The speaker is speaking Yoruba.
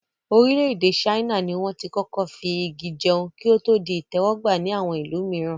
Orílẹ̀-èdè ṣáínà ni wọ́n tí kọ́kọ́ fi Igi jẹun, kí o to di ìtẹ́wọ́ gba ni àwọn ìlú mìíran.